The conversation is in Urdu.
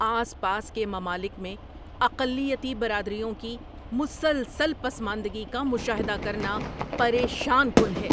آس پاس کے ممالک میں اقلیتی برادریوں کی مسلسل پسماندگی کا مشاہدہ کرنا پریشان کن ہے۔